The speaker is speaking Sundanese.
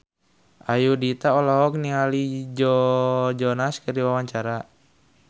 Ayudhita olohok ningali Joe Jonas keur diwawancara